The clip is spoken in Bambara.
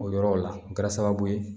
O yɔrɔ la o kɛra sababu ye